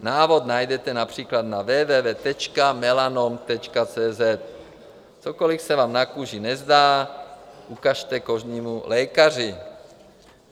Návod najdete například na www.melanom.cz. Cokoliv se vám na kůži nezdá, ukažte kožnímu lékaři.